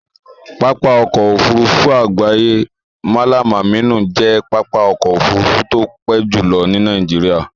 Pápá ọkọ̀ Òfurufú àgbáyé Mallam Aminu jẹ́ pápá ọkọ̀ Òfurufú tó pé jùlo ní Nàìjíríà